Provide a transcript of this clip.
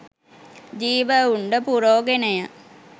ජීව උණ්ඩ පුරෝගෙනය